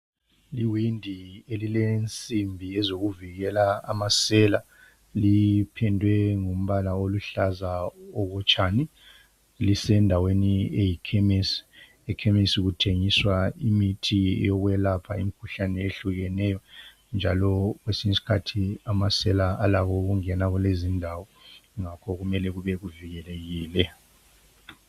Iwindi elilensimbi ezokuvikela amasela. Liphendwe ngumbala oluhlaza okotshani. Lisendaweni eyikhemesi. Ekhemesi kuthengiswa imithi yokwelapha imikhuhlane ehlukeneyo, njalo kwesinyi skhathi amasela alako ukungena kulezindawo, ngakho kumele kube kuvikelekile.